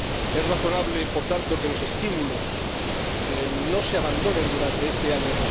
Es razonable, por tanto, que los estímulos no se abandonen durante este año